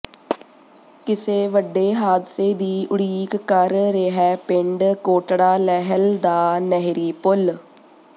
ਕਿਸੇ ਵੱਡੇ ਹਾਦਸੇ ਦੀ ਉਡੀਕ ਕਰ ਰਿਹੈ ਪਿੰਡ ਕੋਟੜਾ ਲਹਿਲ ਦਾ ਨਹਿਰੀ ਪੁਲ